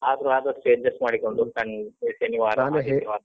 ಆದ್ರೂ ಆದಷ್ಟು adjust ಮಾಡಿಕೊಂಡು, ಬನ್ನಿ ಶನಿವಾರ, ಆದಿತ್ಯವಾರ.